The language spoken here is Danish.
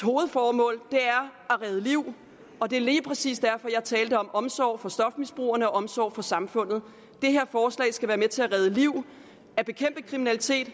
hovedformål er at redde liv og det er lige præcis derfor jeg talte om omsorg for stofmisbrugerne og omsorg for samfundet det her forslag skal være med til at redde liv at bekæmpe kriminalitet